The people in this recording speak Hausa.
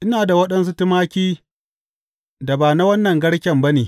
Ina da waɗansu tumaki da ba na wannan garken ba ne.